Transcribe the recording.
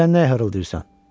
Sən nə hırıldayırsan?